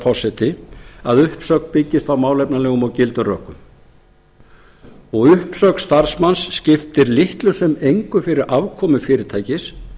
forseti að uppsögn byggist á málefnalegum og gildum rökum uppsögn starfsmanns skiptir litlu sem engu fyrir afkomu fyrirtækis